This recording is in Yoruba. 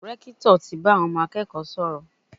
Rẹ́kítọ̀ ti bá àwọn ọmọ akẹ́kọ̀ọ́ sọ̀rọ̀.